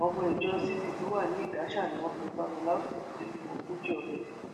ọmọ ìjọ cc tó wà ní ìdáṣà ni wọn pe falola ó sì ti lé lọmọ ogójì ọdún